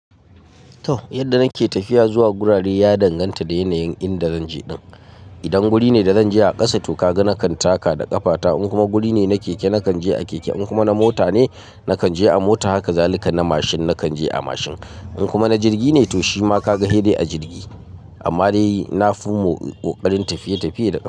To, yadda nake tafiya zuwa gurare ya danganta da yanayin inda zanje din. Idan guri ne da zanje a ƙasa to kagai nakan taka da ƙafata. In kuma guri ne na keke nakan je a keke. In kuma na mota ne nakan je a mota. Haka zalika na mashin nakan je a mashin. In kuma na jirgi ne to shima kagai hei dai a jirgi. Amma dai na fi mo ƙoƙarin tafiye-tafiye da ƙafa.